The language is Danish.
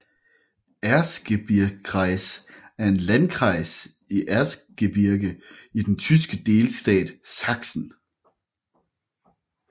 Erzgebirgskreis er en landkreis i Erzgebirge i den tyske delstat Sachsen